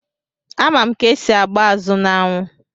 Ama m ka-esi agba azụ n'anwụ.